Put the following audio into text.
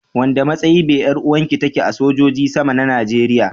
Wanda matsayi be yaruwan ki take a sojoji sama na Najeriya.